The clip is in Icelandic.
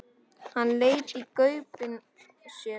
Hann leit í gaupnir sér.